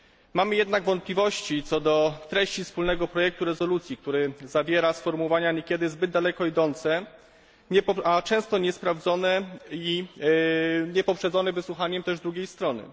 Mamy jednak wątpliwości co do treści wspólnego projektu rezolucji, który zawiera sformułowania niekiedy zbyt daleko idące, a często niesprawdzone i nie poprzedzone też wysłuchaniem drugiej strony.